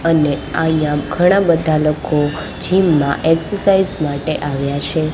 અને અયા ઘણા બધા લોકો જિમ માં એક્સરસાઇઝ માટે આવ્યા છે.